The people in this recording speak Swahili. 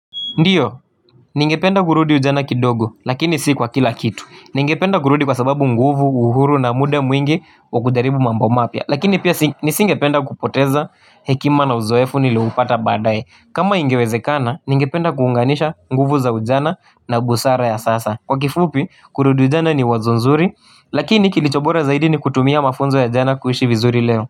Ndiyo, ningependa kurudi ujana kidogo, lakini si kwa kila kitu. Ningependa kurudi kwa sababu nguvu, uhuru na muda mwingi wa kujaribu mambo mapya. Lakini pia nisingependa kupoteza hekima na uzoefu nilioupata baadaye. Kama ingewezekana, ningependa kuunganisha nguvu za ujana na busara ya sasa. Kwa kifupi, kurudi ujana ni wazo nzuri, lakini kilichobora zaidi ni kutumia mafunzo ya jana kuishi vizuri leo.